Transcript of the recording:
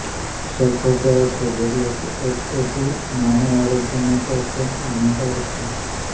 sulphur dioxide એટલે કે S O two માનવ આરોગ્ય માટે અત્યંત હાનિકારક છે